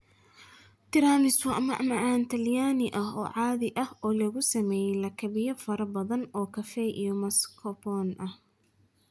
Tiramisu waa macmacaan talyaani ah oo caadi ah oo lagu sameeyay lakabyo fara badan oo kafee iyo mascarpone ah.